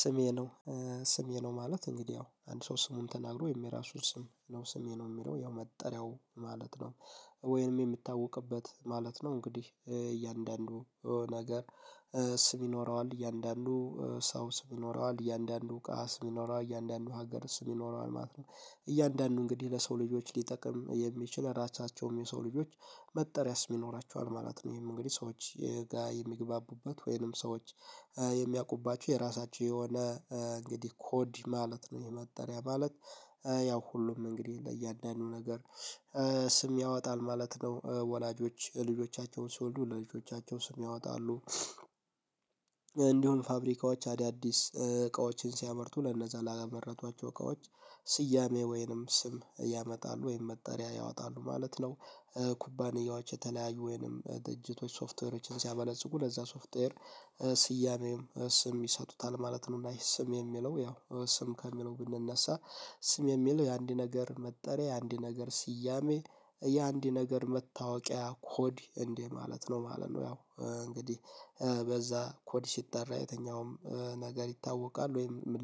ስሜ ነው ስሜ ነው ማለት እንግዲህ አዎ አንድ ሰው ስሙን ተናግሮ የራሱን ስም ነው ስሜ ነው የሚለው ያው መጠሪያው ማለት ነው። ወይንም የሚታወቅበት ማለት ነው እንግዲህ እያንዳንዱ ነገር ስም ይኖረዋል እያንዳንዱ ሰው ስም ይኖረዋል እያንዳንዱ እቃ ስም ይኖረዋል እያንዳንዱ ሀገር ስም ይኖረዋል ማለት ነው። እያንዳንዱ እንግዲህ ለሰው ልጆች ሊጠቅም የሚችል ራታቸውም የሰው ልጆች መጠሪያ ስም ይኖራቸዋል ማለት ነው። ይሄን እንግዲህ ሰዎች የጋራ የሚግባቡበት ወይንም ሰዎች የሚያውቁባችሁ የራሳችሁ የሆነ እንግዲህ ኮድ ማለት ነው። የመጠሪያ ማለት። ያው ሁሉም እንግዲህ ለእያንዳንዱ ነገር ስም ያወጣል ማለት ነው። ወላጆች ልጆቻቸውን ሲወልዱ ለልጆቻቸው ስም ያወጣሉ። እንዲሁም ፋብሪካዎች አዳዲስ እቃዎችን ሲያመርቱ ለነዛ ላመረቷቸው እቃዎች ስያሜ ወይንም ስም ያወጣሉ ወይንም መጠሪያ ያወጣሉ ማለት ነው። ኩባንያዎች የተለያዩ ወይንም ድርጅቶች ሶፍትዌሮችን ሲያበለጽጉ ለዛ ሶፍትዌር ስያሜም ስም ይሰጡታል ማለት ነው። እና ስም የሚለው ያው ስም ከሚለው ብንነሳ ስም የሚለው የአንድ ነገር መጠሪያ የአንድ ነገር ስያሜ ያ አንድ ነገር መታወቂያ ኮድ እንደ ማለት ነው ማለት ነው። ያው እንግዲህ በዛ ኮዲ ሲጠራ የተኛውም ነገር ይታወቃል ወይም ምን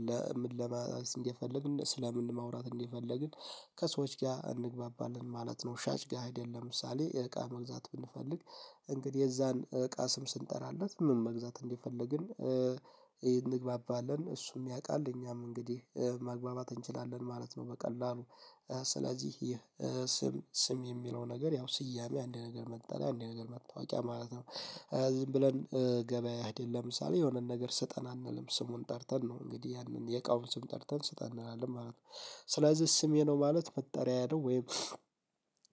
ለመመለስ እንደፈልግ ስለ ምን ማውራት እንደፈልግ ከሰዎች ጋር እንግባባለን ማለት ነው። ሻጭ ጋር አይደለም ለምሳሌ የእቃ መግዛት ብንፈልግ እንግዲህ የዛን እቃ ስም ስንጠራለት ምን መግዛት እንደፈልግን እንግባባለን እሱም ያውቃል እኛም እንግዲህ ማግባባት እንችላለን ማለት ነው። በቀላሉ ስለዚህ ይህ ስም ስም የሚለው ነገር ያው ስያሜ አንድ ነገር መጠሪያ አንድ ነገር መታወቂያ ማለት ነው። ዝም ብለን ገበያ አይደለም ለምሳሌ የሆነ ነገር ስጠን አንልም ስሙን ጠርተን ነው እንግዲህ ያንን የእቃውን ስም ጠርተን ስጠን እንላለን ማለት ነው። ስለዚህ ስሜ ነው ማለት መጠሪያ ያለው ወይም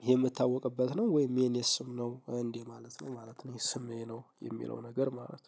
የምታወቅበት ነው ወይም የኔ ስም ነው እንዴ ማለት ነው ማለት ነው የስም ይሄ ነው የሚለው ነገር ማለት ነው